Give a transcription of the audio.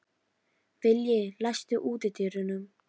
Vilji, læstu útidyrunum.